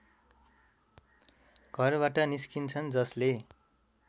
घरबाट निस्किन्छन् जसले